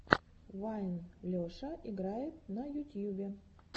вайн леша играет на ютьюбе